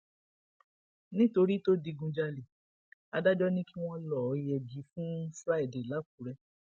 nítorí tó digunjalè adájọ ni kí wọn lọọ yẹgi fún friday làkúrè